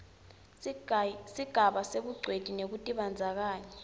sigaba sebungcweti nekutibandzakanya